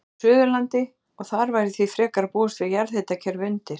Suðurlandi, og þar væri því frekar að búast við jarðhitakerfi undir.